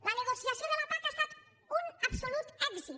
la negociació de la pac ha estat un absolut èxit